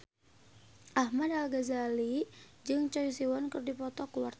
Ahmad Al-Ghazali jeung Choi Siwon keur dipoto ku wartawan